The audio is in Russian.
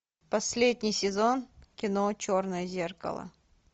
последний сезон кино черное зеркало